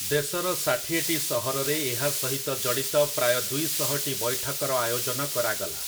ଦେଶର ଷାଠିଏଟି ସହରରେ ଏହା ସହିତ ଜଡ଼ିତ ପ୍ରାୟ ଦୁଇଶହଟି ବୈଠକର ଆୟୋଜନ କରାଗଲା ।